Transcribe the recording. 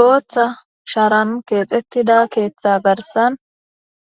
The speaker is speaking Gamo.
Boththa sharanni kexxetida shara garissanni